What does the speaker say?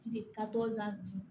Kile ka t'o la bi